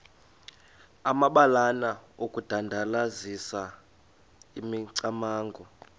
amabalana okudandalazisa imicamango